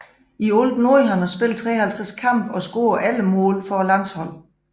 I alt nåede han at spille 53 kampe og score 11 mål for landsholdet